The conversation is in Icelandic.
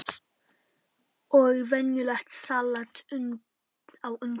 Og venjulegt salat á undan mat.